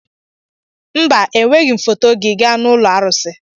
mba, Eweghị m foto gị gaa n'ụlọ arụsị